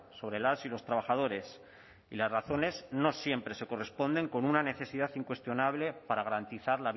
sobre las y los trabajadores y las razones no siempre se corresponden con una necesidad incuestionable para garantizar